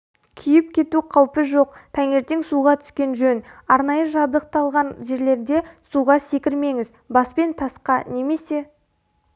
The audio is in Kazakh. күйіп кету қаупі жоқ таңертең суға түскен жөн арнайы жабдықталған жерлерде суға секірмеңіз баспен тасқа немесе